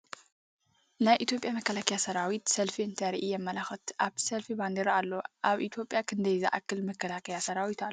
ናይ ኢትዮጵያ መከላከያ ሰራዊት ሰልፊ እንተርኢ የምልክት ኣብቲ ሰልፊ ባንዴራ ኣሎ ። ኣብ ኢትዮጵያ ክንደይ ዝኣክል መከላከያ ሰራዊት ኣሎ ?